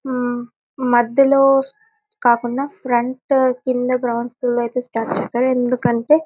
ఆహ్ మధ్యలో కాకుండా ఫ్రంట్ కింద స్టార్ట్ చేస్తారు. ఎందుకంటే --